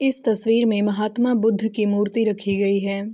इस तस्वीर मे महात्मा बुद्ध की मूर्ति रखी गई है ।